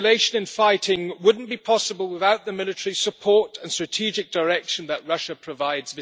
The escalation in fighting would not be possible without the military support and strategic direction that Russia provides.